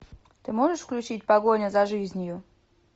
ты можешь включить погоня за жизнью